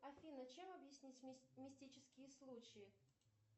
афина чем объяснить мистические случаи